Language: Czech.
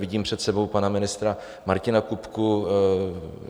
Vidím před sebou pana ministra Martina Kupku.